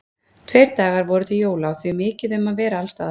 Tveir dagar voru til jóla og því mikið um að vera alls staðar.